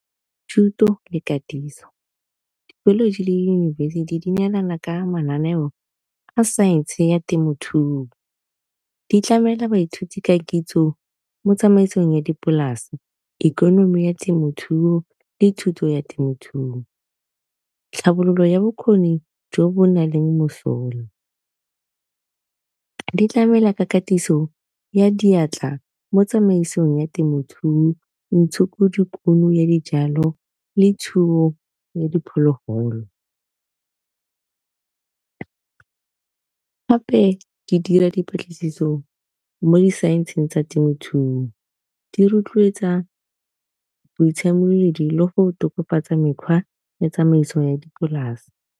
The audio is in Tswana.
Thuto le katiso di-college le diyunibesithi di neelana ka mananeo a science ya temothuo, di tlamela baithuti ka kitso mo tsamaisong ya dipolase ikonomi ya temothuo le thuto ya temothuo. Tlhabololo ya bokgoni jo bo nang le mosola ditlamela ka katiso ya diatla mo tsamaisong ya temothuo ntsho dikuno ya dijalo, le thuo ya diphologolo gape di dira dipatlisiso mo di-science-eng tsa temothuo, di rotloetsa boitshemoledi le go tokafatsa mekgwa ya tsamaiso ya dipolase.